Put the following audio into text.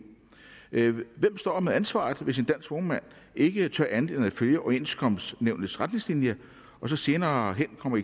hvem står med ansvaret hvis en dansk vognmand ikke tør gøre andet end at følge overenskomstnævnets retningslinjer og så senere hen kommer